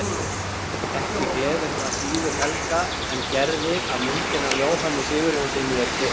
Ekki gleður það síður Helga en Gerði að myndin af Jóhanni Sigurjónssyni er keypt.